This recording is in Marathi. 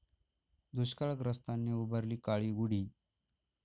दुष्काळग्रस्तांनी उभारली काळी गुढी